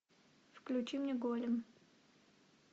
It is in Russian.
включи мне голем